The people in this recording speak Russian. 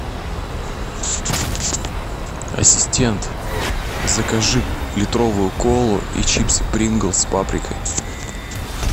ассистент закажи литровую колу и чипсы принглс с паприкой